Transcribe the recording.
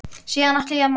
Síðan ætla ég að mála.